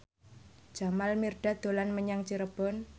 Jamal Mirdad dolan menyang Cirebon